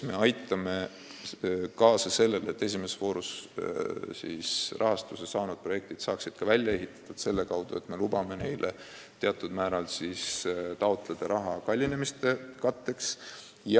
Me aitame kaasa, et esimeses voorus rahastuse saanud projektid saaks ka ellu viidud ja sellepärast me lubame neil teatud määral raha juurde taotleda, et kogu kallinemist katta.